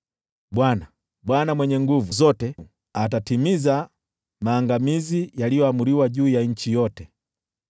Bwana, Bwana Mwenye Nguvu Zote, atatekeleza maangamizi yaliyoamriwa juu ya nchi yote.